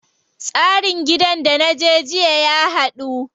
Tsarin gidan da naje jiya ya haɗu.